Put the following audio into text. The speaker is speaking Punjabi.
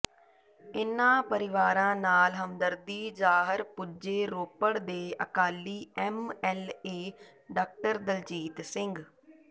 ਇਨ੍ਹਾਂ ਪਰਿਵਾਰਾਂ ਨਾਲ ਹਮਦਰਦੀ ਜ਼ਾਹਰ ਪੁੱਜੇ ਰੋਪੜ ਦੇ Akali M L A doctor Daljit Singh